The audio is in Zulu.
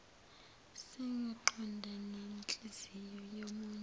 sengqondo nenhliziyo yomunye